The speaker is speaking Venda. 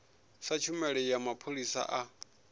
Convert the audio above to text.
sa tshumelo ya mapholisa a